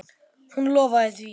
Hún lofaði því.